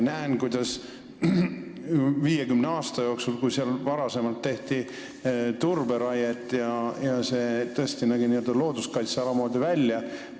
Varem tehti seal 50 aasta jooksul turberaiet ja see ala nägi tõesti looduskaitseala moodi välja.